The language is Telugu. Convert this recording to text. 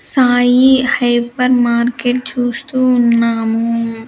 సాయి హైపర్ మార్కెట్ చూస్తూ ఉన్నాము.